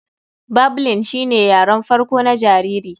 Babling shine yaren farko na jariri.